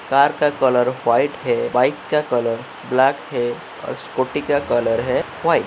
Car का colour white है। Bike का कलर ब्लैक है और स्कूटी का कलर है व्हाइट ।